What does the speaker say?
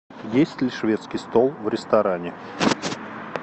есть ли шведский стол в ресторане